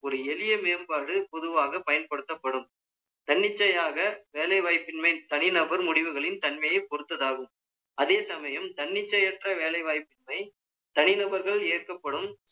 ஒரு எளிய மேம்பாடு, பொதுவாக பயன்படுத்தப்படும் தன்னிச்சையாக வேலைவாய்ப்பின்மை தனிநபர் முடிவுகளின் தன்மையைப் பொறுத்தது ஆகும் அதே சமயம், தன்னிச்சையற்ற வேலை வாய்ப்பினை, தனிநபர்கள் இயக்கப்படும்